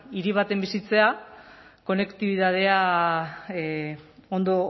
hiri batean bizitzea konektibitatea ondo